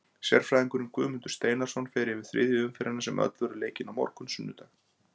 Sérfræðingurinn Guðmundur Steinarsson fer yfir þriðju umferðina sem öll verður leikin á morgun sunnudag.